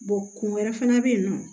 kun wɛrɛ fana bɛ yen nɔ